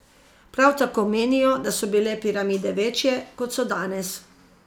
Prav tako menijo, da so bile piramide večje, kot so danes.